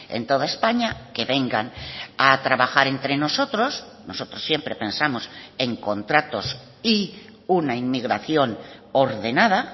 en toda españa que vengan a trabajar entre nosotros nosotros siempre pensamos en contratos y una inmigración ordenada